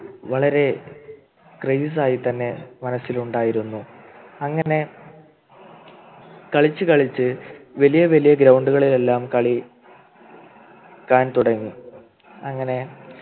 വളരെ Craze ആയി തന്നെ മനസ്സിൽ ഉണ്ടായിരുന്നു അങ്ങനെ കളിച്ചുകളിച്ച് വലിയ വലിയ Ground കളിലെല്ലാം കളി ക്കാൻ തുടങ്ങി അങ്ങനെ